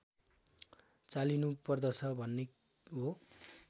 चालिनुपर्दछ भन्ने हो